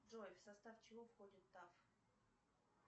джой в состав чего входит таф